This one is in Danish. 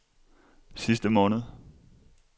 sidste måned